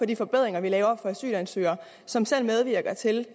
de forbedringer vi laver for asylansøgere som selv medvirker til